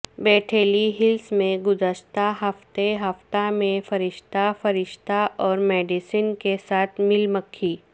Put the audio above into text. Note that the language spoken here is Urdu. بیٹھیلی ہلز میں گزشتہ ہفتے ہفتہ میں فرشتہ فرشتہ اور میڈیسن کے ساتھ مل مکھی